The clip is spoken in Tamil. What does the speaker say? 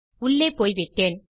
உள்ளே போய்விட்டேன்